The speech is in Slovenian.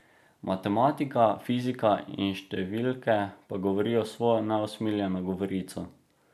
Matematika, fizika in številke pa govorijo svojo neusmiljeno govorico.